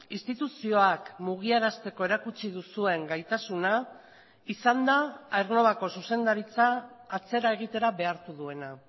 instituzioak mugiarazteko erakutsi duzuen gaitasuna izan da aernnovako zuzendaritza atzera egitera behartu duena